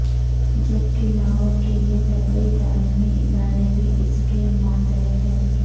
جبکہلاہور کے یہ طبی تعلیمی ادارے بھی اس کے ماتحت ہیں